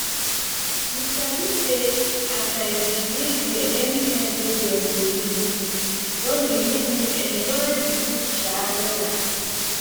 you sabi say as i dey dey there anytime wey dem dey make food don dey make me enjoy the food um wella